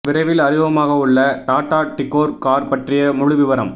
விரைவில் அறிமுகமாகவுள்ள Tata Tigor car பற்றிய முழு விவரம்